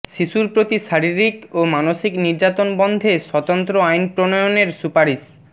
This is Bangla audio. শিশুর প্রতি শারীরিক ও মানসিক নির্যাতন বন্ধে স্বতন্ত্র আইন প্রণয়নের সুপারিশ